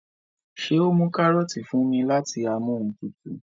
ṣe o mú karọọti fún mí láti Amóhuntutù?